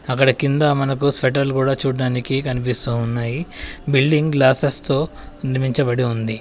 అక్కడ కింద మనకు స్వెటర్లు కూడా చూడ్డానికి కనిపిస్తూ ఉన్నాయి. బిల్డింగ్ గ్లాసెస్తో నిర్మించబడి ఉంది.